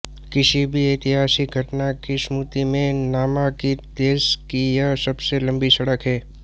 किसी भी ऐतिहासिक घटना की स्मृति में नामांकित देश की यह सबसे लंबी सड़क है